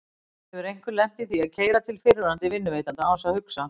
Hefur einhver lent í því að keyra til fyrrverandi vinnuveitanda án þess að hugsa?